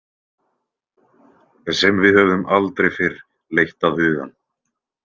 Sem við höfðum aldrei fyrr leitt að hugann.